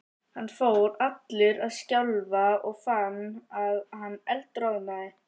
Hann fór allur að skjálfa og fann að hann eldroðnaði.